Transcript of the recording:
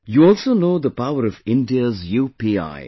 You also know the power of India's UPI